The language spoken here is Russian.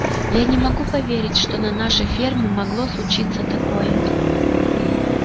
я не могу поверить что на нашей ферме могло случиться такое